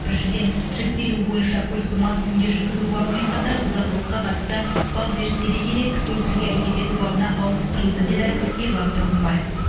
біріншіден жіктелуі бойынша көлікті мас күйінде жүргізу бабымен қатар бұзақылыққа қатысты бап зерттеле келе кісі өлтіруге әрекет ету бабына ауыстырылды деді ерлан тұрғымбаев